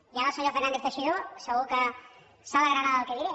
i ara el senyor fernández teixidó segur que s’alegrarà del que diré